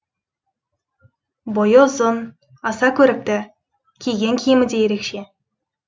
бойы ұзын аса көрікті киген киімі де ерекше